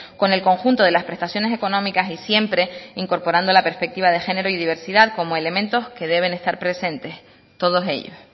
con el conjunto de las prestaciones económicas y siempre incorporando la perspectiva de género y diversidad como elementos que deben estar presentes todos ellos